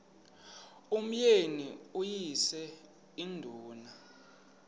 umyeni uyise iduna